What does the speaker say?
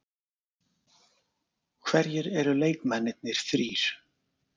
Hverjir eru leikmennirnir þrír?